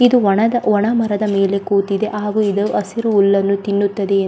ಇದು ಒಣದ ಒಣ ಮರದ ಮೇಲೆ ಕೂತಿದೆ ಹಾಗು ಇದು ಹಸಿರು ಹುಲ್ಲನ್ನು ತಿನ್ನುತ್ತದೆ --